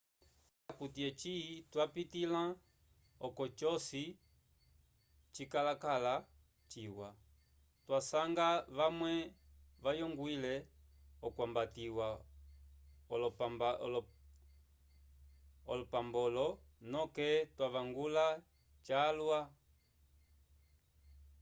ocili akuti eci twapitĩla oko joci cikakala ciwa twasanga vamwe vayongwile okwambatiwa olmbapolo noke twavangula cyalwa